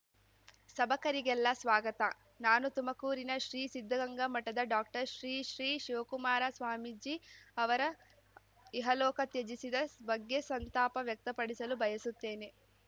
ಸಭಕರಿಗೆಲ್ಲ ಸ್ವಾಗತ ನಾನು ತುಮಕೂರಿನ ಶ್ರೀ ಸಿದ್ಧಗಂಗಾ ಮಠದ ಡಾಕ್ಟರ್ ಶ್ರೀ ಶ್ರೀ ಶಿವಕುಮಾರ ಸ್ವಾಮೀಜಿ ಅವರ ಇಹಲೋಕ ತ್ಯಜಿಸಿದ ಬಗ್ಗೆ ಸಂತಾಪ ವ್ಯಕ್ತಪಡಿಸಲು ಬಯಸುತ್ತೇನೆ